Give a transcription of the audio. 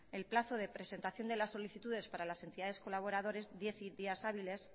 el plazo de presentación de las solicitudes para las entidades colaboradores diez días hábiles